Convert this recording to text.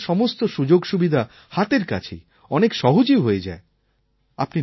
আর এখন তো সমস্ত সুযোগসুবিধা হাতের কাছেই অনেক সহজেই হয়ে যায়